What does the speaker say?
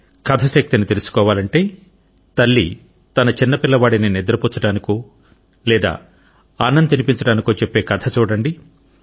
కథ శక్తిని తెలుసుకోవాలంటే తల్లి తన చిన్న పిల్లవాడి ని నిద్ర పుచ్చడానికో లేదా అన్నం తినిపించడానికో చెప్పే కథ చూడండి